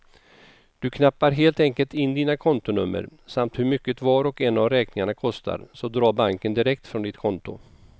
Du knappar helt enkelt in dina kontonummer samt hur mycket var och en av räkningarna kostar, så drar banken direkt från ditt konto.